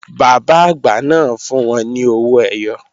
Bàbá àgbà náà fún wọn ní owó ẹyọ